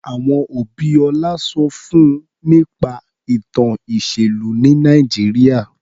Àwọn òbí Ọlá sọ fún nípa ìtàn ìṣèlú ní Nàìjíríà.